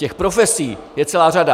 Těch profesí je celá řada.